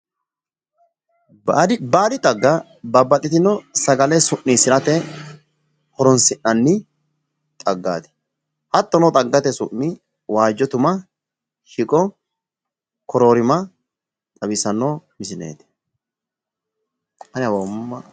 Baadi xagga babbaxxitino sagale su'niissirati horoonsi'nanni xaggaati. Hattono xaggate su'mi waajjo tuma, shiqo, koroorima xawissanno misileeti.